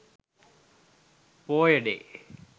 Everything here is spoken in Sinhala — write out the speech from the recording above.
poya day